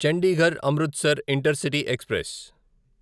Chandigarh Amritsar intercity express